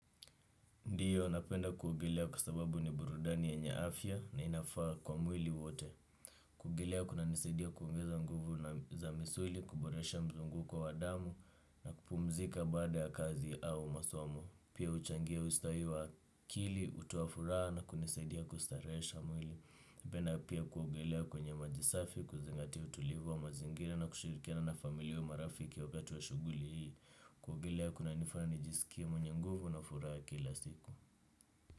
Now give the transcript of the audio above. Ndiyo, napenda kuogelea kwa sababu ni burudani yenye afya na inafaa kwa mwili wote. Kuogelea kunanisidia kuongeza nguvu na za misuli, kuboresha mzunguko wa damu na kupumzika baada ya kazi au masomo. Pia uchangia ustawi wa kili, utoa furaha na kunisaidia kustaresha mwili. Penda pia kuogelea kwenye maji safi, kuzingatia utulivu wa mazingira na kushirikiana na familia au marafiki wakati wa shuguli hii. Kuogelea kunanifanya nijisikie mwenye nguvu na furaha kila siku.